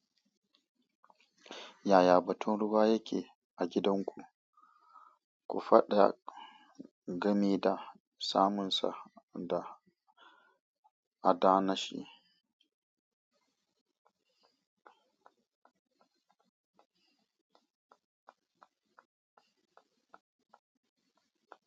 Yaya batun ruwa yake a gidanku? Ku faɗa game da samunsa da adana shi.